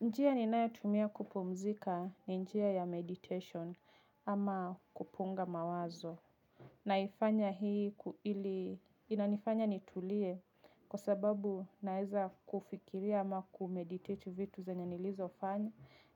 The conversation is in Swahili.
Njia ninayo tumia kupumzika ni njia ya meditation ama kupunga mawazo. Naifanya hii ili inanifanya nitulie kwa sababu naeza kufikiria ama kumeditate vitu zenye nilizo fanya